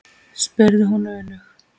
spurði hún önug.